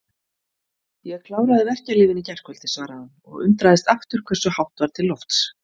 Ég kláraði verkjalyfin í gærkvöldi, svaraði hann og undraðist aftur hversu hátt var til lofts.